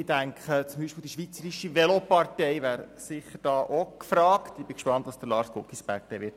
Ich denke beispielsweise, die Schweizerische Velopartei wäre da sicher auch gefragt, und ich bin gespannt, was Lars Guggisberg sagen wird.